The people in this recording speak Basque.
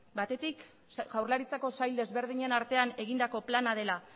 batetik jaurlaritzako sail desberdinen artean egindako plana dela